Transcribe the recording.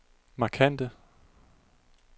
markante